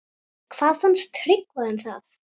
Hvað fannst Tryggva um það?